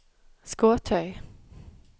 Skåtøy